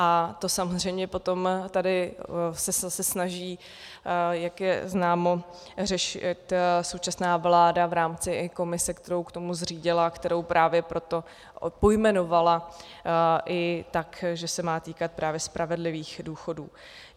A to samozřejmě potom tady se snaží, jak je známo, řešit současná vláda v rámci i komise, kterou k tomu zřídila, kterou právě proto pojmenovala i tak, že se má týkat právě spravedlivých důchodů.